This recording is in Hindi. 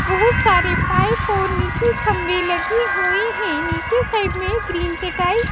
बहुत सारे पाइप और नीचे खंबे लगे हुए हैं नीचे साइड में ग्रीन चटाई--